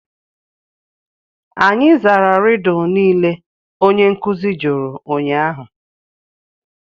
Anyị zara Rịdụ niile onye nkuzi jụrụ ụnyahụ